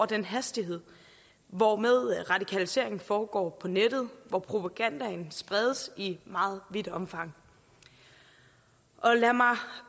den hastighed hvormed radikaliseringen foregår på nettet hvor propagandaen spredes i meget vidt omfang lad mig